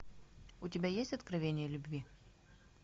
у тебя есть откровение любви